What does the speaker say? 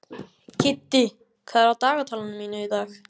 Kiddi, hvað er í dagatalinu mínu í dag?